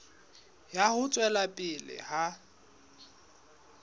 ya ho tswela pele ha